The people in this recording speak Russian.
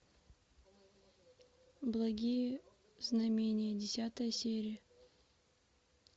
благие знамения десятая серия